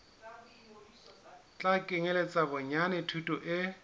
tla kenyeletsa bonyane thuto e